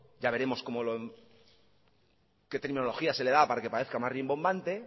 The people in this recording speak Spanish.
ya veremos qué terminología se le da para que parezca más rimbombante